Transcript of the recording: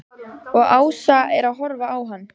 Og Ása er að horfa á hann.